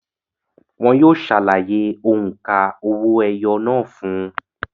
Wọn yóò ṣàlàyé òǹkà owó-ẹyọ náà fún ùn